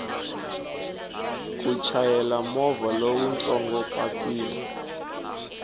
ku chayela movha lowutsongo papilla